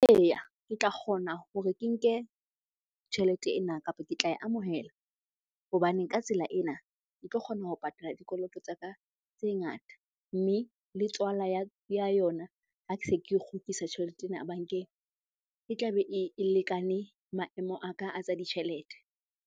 Eya, ke tla kgona hore ke nke tjhelete ena kapa ke tla e amohela hobane ka tsela ena ke tlo kgona ho patala dikoloto tsa ka tse ngata. Mme le tswala ya yona ha ke se ke kgutlisa tjhelete ena bankeng, e tlabe e lekane maemo a ka a tsa ditjhelete.